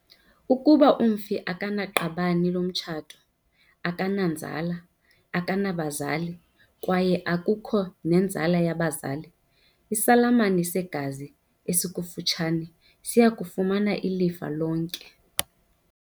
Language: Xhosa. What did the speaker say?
Ukuba umfi akanaqabane lomtshato, akananzala, akanabazali kwaye akukho nenzala yabazali, isalamane segazi esikufutshane siya kufumana ilifa lonke.